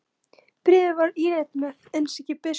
Bréfið var ílangt og með innsigli biskups.